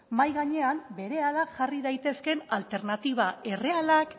mahai gainean berehala jarri daitezkeen alternatiba errealak